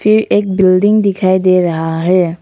ये एक बिल्डिंग दिखाई दे रहा है।